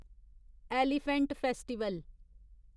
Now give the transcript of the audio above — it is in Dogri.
elephant festival